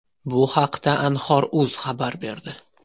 Bu haqda Anhor.uz xabar berdi .